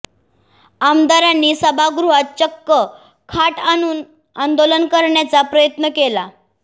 आमदारांनी सभागृहात चक्क खाट आणून आंदोलन करण्याचा प्रयत्न केला